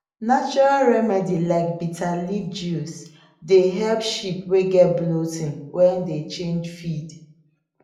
natural remedy like bitter leaf juice dey help sheep wey get bloating when dem change feed